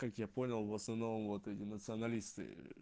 как я понял в основном вот эти националисты